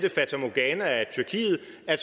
at